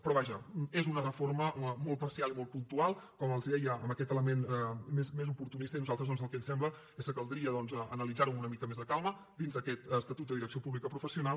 però vaja és una reforma molt parcial i molt puntual com els deia amb aquest element més oportunista i a nosaltres doncs el que ens sembla és que caldria analitzar ho amb una mica més de calma dins d’aquest estatut de direcció pública professional